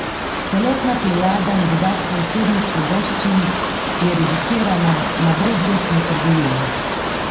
Celotna plejada in bogastvo osebnih svoboščin je reducirana na brezvestno trgovino.